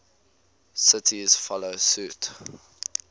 cities follow suit